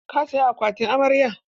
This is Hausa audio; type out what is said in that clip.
Ka saya akwatin amarya?